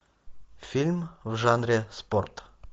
фильм в жанре спорт